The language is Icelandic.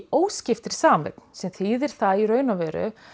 óskiptri sameign sem þýðir það í raun og veru